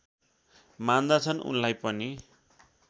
मान्दछन् उनलाई पनि